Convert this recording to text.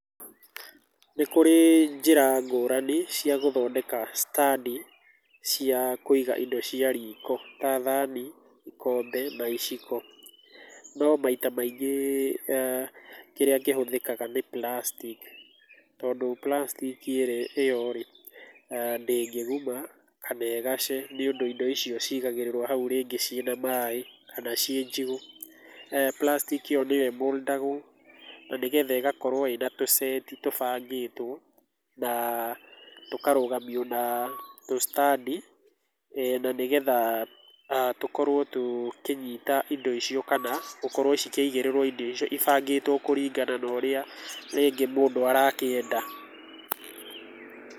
Nĩ kũrĩ njĩra ngũrani cia gũthondeka stand cia kũiga indo cia riko ta thani, ikombe na iciko no maita mangĩ kĩrĩa kĩhũthĩkaga nĩ plastic tondũ plastic ĩyo ndĩngĩguma kana ĩgace, nĩ ũndũ indo icio cigagĩrĩrwo rĩngĩ hau ciĩ na maĩ kana ciĩ njigũ. plastic nĩyo ĩĩ mould agwo na nĩgetha ĩgakorwo ĩna tũseti tũbangĩtwo na tũkarogamio na tũ standi na nĩgetha tũkorwo tũkĩnyita indo icio kana gũkorwo ikĩigĩrĩrwo indo icio ibangĩtwo kũringana na ũrĩa rĩngĩ mũndũ arakĩenda.